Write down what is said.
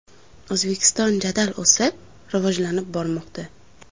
O‘zbekiston jadal o‘sib, rivojlanib bormoqda!